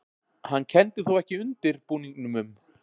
Hann kenndi þó ekki undirbúningnum um